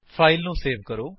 file ਨੂੰ save ਕਰੋ